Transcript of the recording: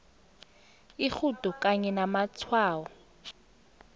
irhudo kanye namatshwayo